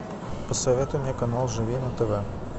посоветуй мне канал живи на тв